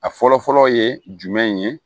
A fɔlɔ fɔlɔ ye jumɛn ye